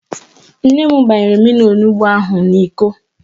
Nne m gbanyere m mmiri onugbo ahụ n'Iko